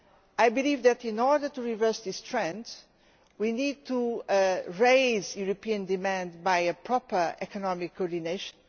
I believe that in order to reverse this trend we need to raise European demand by proper economic coordination.